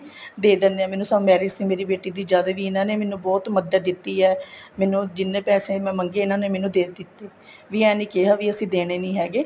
ਦੇ ਦੇਣੇ ਹੈ ਮੈਨੂੰ ਸਭ marriage ਸੀ ਮੇਰੀ ਬੇਟੀ ਦੀ ਜਦ ਵੀ ਇਹਨਾ ਨੇ ਮੈਨੂੰ ਬਹੁਤ ਮੱਦਦ ਦਿੱਤੀ ਏ ਮੈਨੂੰ ਜਿਹਨੇ ਪੈਸੇ ਮੈਂ ਮੰਗੇ ਇਹਨਾ ਨੇ ਮੈਨੂੰ ਦੇ ਦਿੱਤੇ ਵੀ ਇਹ ਨਹੀਂ ਕਹਿਆ ਕੀ ਅਸੀਂ ਦੇਣੇ ਨਹੀਂ ਹੈਗੇ